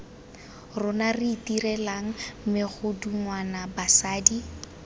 rona re itirelang megodungwana basadi